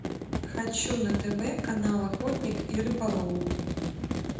хочу на тв канал охотник и рыболов